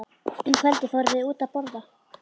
Um kvöldið fóru þau út að borða.